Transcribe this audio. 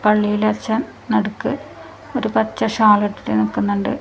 പള്ളിലച്ചൻ നടുക്ക് ഒരു പച്ച ഷാൾ ഇട്ടിട്ട് നിൽക്കുന്നുണ്ട്.